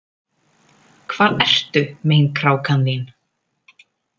Hvar ertu, meinkrákan þín?